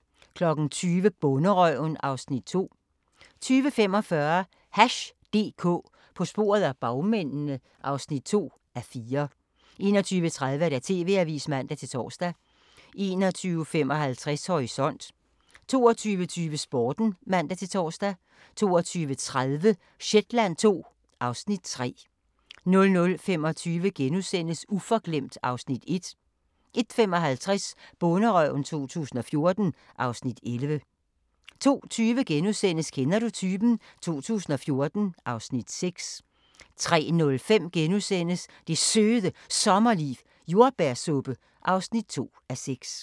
20:00: Bonderøven (Afs. 2) 20:45: Hash DK – på sporet af bagmændene (2:4) 21:30: TV-avisen (man-tor) 21:55: Horisont 22:20: Sporten (man-tor) 22:30: Shetland II (Afs. 3) 00:25: Uforglemt (Afs. 1)* 01:55: Bonderøven 2014 (Afs. 11) 02:20: Kender du typen? 2014 (Afs. 6)* 03:05: Det Søde Sommerliv - Jordbærsuppe (2:6)*